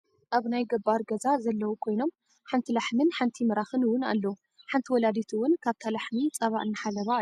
ኣብ ናይ ገባር ገዛ ዘለው ኮይኖም ሓንቲ ላሕምን ሓንቲ ምራክን እውን ኣለው ።ሓንቲ ወላዲት እውን ካብታ ላሕሚ ፃባ እናሓለባ ኣለዋ።